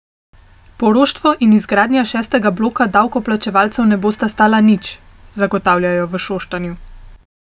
Poroštvo in izgradnja šestega bloka davkoplačevalcev ne bosta stala nič, zagotavljajo v Šoštanju.